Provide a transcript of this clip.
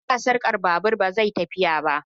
In ba sarka babur ba zai iya tafiya ba